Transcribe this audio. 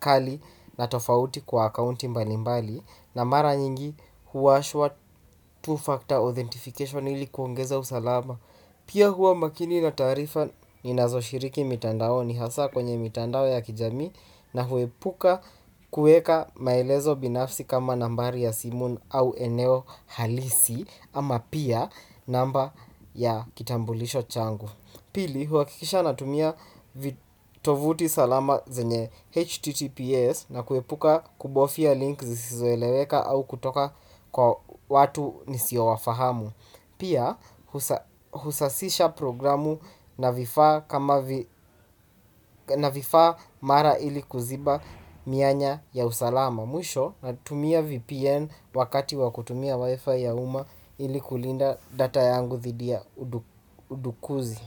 kali na tofauti kwa akauti mbalimbali. Na mara nyingi huwashwa two-factor authentication ilikuongeza usalama. Pia huwa makini na taarifa ninazo shiriki mitandaoni hasa kwenye mitandao ya kijamii. Na huepuka kueka maelezo binafsi kama nambari ya simu au eneo halisi ama pia namba ya kitambulisho changu. Pili huhakikisha natumia vitovuti salama zenye HTTPS na kuepuka kubofya links zisizoeleweka au kutoka kwa watu nisio wafahamu. Pia husasisha programu na vifaa kama na vifaa mara ili kuziba mianya ya usalama, mwisho natumia vpn wakati wa kutumia wifi ya uma ili kulinda data yangu dhidi ya udukuzi.